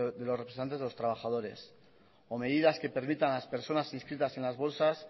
de los representantes de los trabajadores o medidas que permitan a las personas inscritas en las bolsas